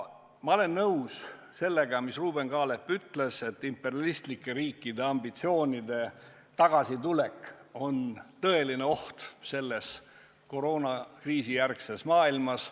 Ma olen nõus sellega, mis Ruuben Kaalep ütles selle kohta, et imperialistlike riikide ambitsioonide tagasitulek on tõeline oht selles koroonakriisijärgses maailmas.